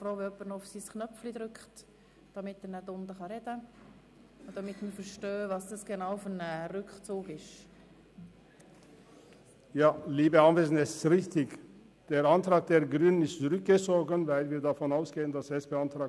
Ich ziehe den Antrag der Grünen zurück, sofern der Antrag der SP-JUSO-PSA-Fraktion weiterhin bestehen bleibt.